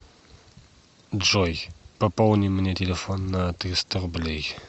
джой пополни мне телефон на триста рублей